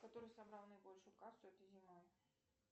который собрал наибольшую кассу этой зимой